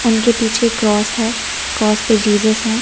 उनके पीछे क्रॉस है क्रॉस पे जीसस है।